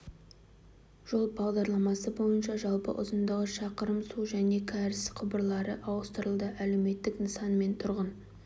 жол бағдарламасы бойынша жалпы ұзындығы шақырым су және кәріз құбырлары ауыстырылды әлеуметтік нысан мен тұрғын